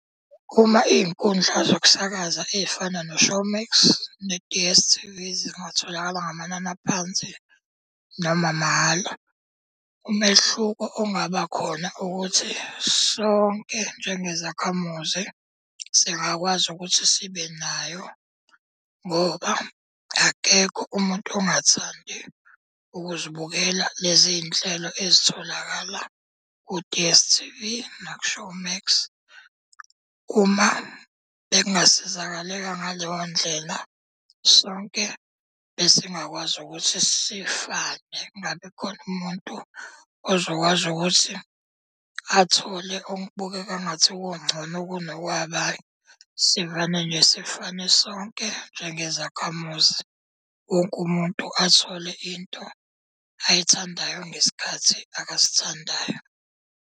Uma iy'nkundla zokusakaza ey'fana no-Showmax ne-D_S_T_V zingatholakala ngamanani aphansi noma mahhala. Umehluko ongaba khona ukuthi sonke njengezakhamuzi singakwazi ukuthi sibe nayo ngoba akekho umuntu ongathandi ukuzibukela lezi nhlelo ezitholakala ku-D_S_T_V naku-Showmax. Uma bengingasizakaleka ngaleyo ndlela, sonke besingakwazi ukuthi sifane, kungabi khona umuntu ozokwazi ukuthi athole okubukeka ngathi kungcono kunokwabanye. Sivane nje sifane sonke njengezakhamuzi, wonke umuntu athole into ayithandayo ngesikhathi akasithandayo.